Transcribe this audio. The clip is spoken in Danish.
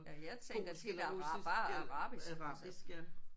Ja jeg tænker tit bare arabisk altså